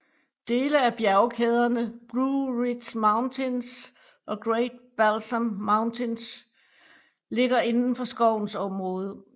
Dele af bjergkæderne Blue Ridge Mountains og Great Balsam Mountains ligger inden for skovens område